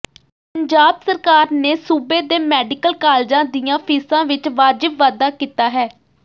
ਪੰਜਾਬ ਸਰਕਾਰ ਨੇ ਸੂਬੇ ਦੇ ਮੈਡੀਕਲ ਕਾਲਜਾਂ ਦੀਆਂ ਫੀਸਾਂ ਵਿਚ ਵਾਜਿਬ ਵਾਧਾ ਕੀਤਾ ਹੈ